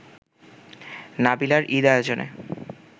নাবিলার ঈদ আয়োজনে